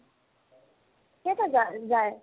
কেইটাত যা ~ যায়